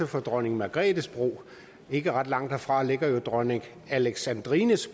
for dronning margrethes bro ikke ret langt derfra ligger jo dronning alexandrines